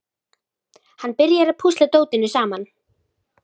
Hann byrjar að púsla dótinu saman.